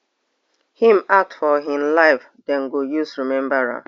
im act for im life dem go use remember am